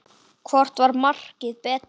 Hvort markið var betra?